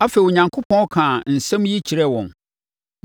Afei, Onyankopɔn kaa nsɛm yi kyerɛɛ wɔn: